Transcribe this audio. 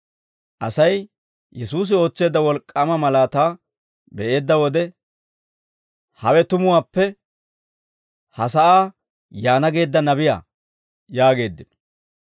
Asay Yesuusi ootseedda wolk'k'aama malaataa be'eedda wode, «Hawe tumuwaappe ha sa'aa yaana geedda nabiyaa» yaageeddino.